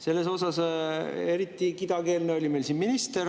Selles osas oli eriti kidakeelne meil siin minister.